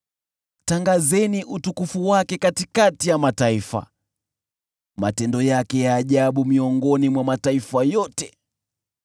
Tangazeni utukufu wake katikati ya mataifa, matendo yake ya ajabu miongoni mwa mataifa yote.